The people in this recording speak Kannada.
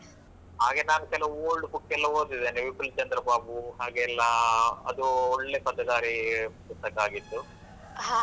ಹಾಗೆ ನಾನು ಕೆಲವು old book ಎಲ್ಲ ಓದಿದ್ದೇನೆ ವಿಪಿನ್ ಚಂದ್ರಬಾಬು ಹಾಗೆಲ್ಲ, ಅದು ಒಳ್ಳೆ ಪತ್ತೆದಾರಿ ಪುಸ್ತಕ ಆಗಿತ್ತು.